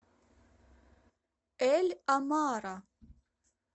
эль амара